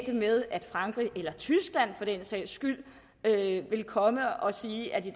det med at frankrig eller tyskland for den sags skyld ville komme og sige at vi